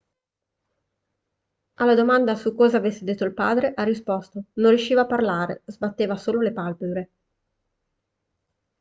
alla domanda su cosa avesse detto il padre ha risposto non riusciva a parlare sbatteva solo le palpebre